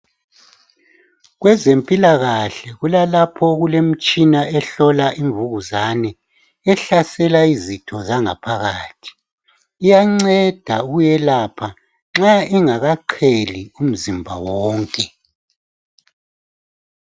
Kwezempilakahle kulalapho okulemtshina ehlola imvukuzane ehlasela izitho zangaphakathi iyanceda ukuyelapha nxa ingakaqheli umzimba wonke.